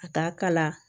Ka taa kala la